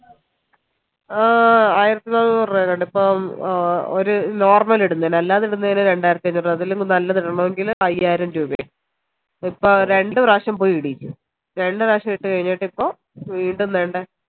ആഹ് ആയിരത്തി നാന്നൂറ് രൂപയുണ്ട് ഇപ്പം ഒരു normal ഇടുന്നെന് അല്ലാതെ ഇടുന്നെന് രണ്ടായിരത്തി അന്നൂർ രൂപ അതില് നല്ലത് ഇടണോങ്കിൽ അയ്യായിരം രൂപ ഇപ്പൊ രണ്ട്‌ പ്രവശ്യോ പോയി ഇടിചു രണ്ട പ്രവശ്യോ ഇട്ട് കഴിഞ്ഞിട്ട് ഇപ്പൊ വീണ്ടും തേണ്ടെ